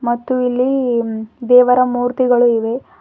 ಮತ್ತು ಇಲ್ಲೀ ದೇವರ ಮೂರ್ತಿಗಳು ಇವೆ.